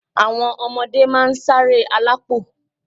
Àwọn ọmọdé máa ń ṣáré alápò